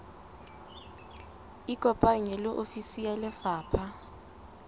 ikopanye le ofisi ya lefapha